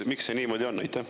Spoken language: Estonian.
Miks see niimoodi on?